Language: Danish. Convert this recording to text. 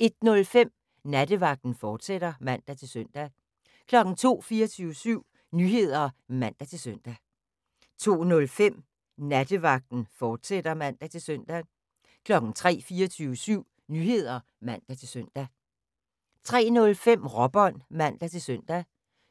01:05: Nattevagten, fortsat (man-søn) 02:00: 24syv Nyheder (man-søn) 02:05: Nattevagten, fortsat (man-søn) 03:00: 24syv Nyheder (man-søn) 03:05: Råbånd (man-søn) 04:00: